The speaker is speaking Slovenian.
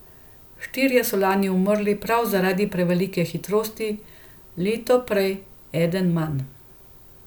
Štirje so lani umrli prav zaradi prevelike hitrosti, leto prej eden manj.